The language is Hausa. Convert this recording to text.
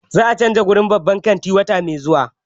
Za a canza wurin babban kantin wata mai zuwa.